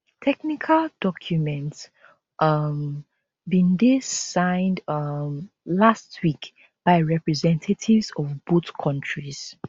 technical documents um bin dey signed um last week by representatives of both countries